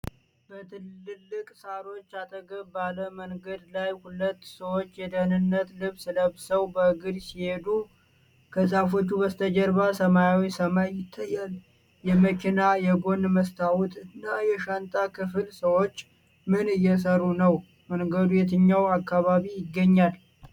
በትላልቅ ሳሮች አጠገብ ባለ መንገድ ላይ፣ ሁለት ሰዎች የደህንነት ልብስ ለብሰው በእግር ሲሄዱ። ከዛፎች በስተጀርባ ሰማያዊ ሰማይ ይታያል። የመኪና የጎን መስታወት እና የሻንጣ ክፍል። ሰዎች ምን እየሰሩ ነው? መንገዱ የትኛው አካባቢ ይገኛል?